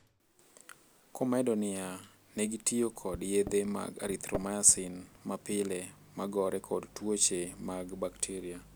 komedo niyaa, negityo kod yedhe mag arithromayasin ma pile magore kod twoche mag backteria